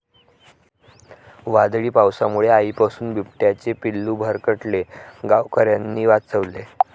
वादळी पावसामुळे आईपासून बिबट्याचे पिल्लू भरकटले, गावकऱ्यांनी वाचवले